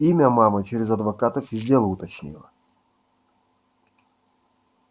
имя мама через адвокатов из дела уточнила